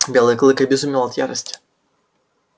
белый клык обезумел от ярости